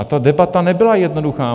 A ta debata nebyla jednoduchá.